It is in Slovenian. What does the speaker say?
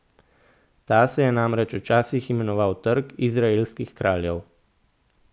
Ta se je namreč včasih imenoval Trg izraelskih kraljev.